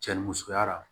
Cɛ ni musoya